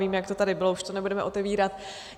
Vím, jak to tady bylo, už to nebudeme otevírat.